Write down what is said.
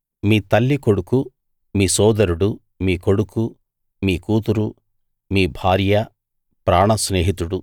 మీ తల్లి కొడుకు మీ సోదరుడు మీ కొడుకు మీ కూతురు మీ భార్య ప్రాణస్నేహితుడు